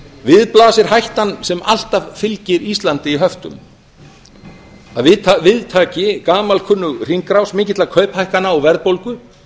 við blasir hættan sem alltaf fylgir íslandi í höftum að við taki gamalkunnug hringrás mikilla kauphækkana og verðbólgu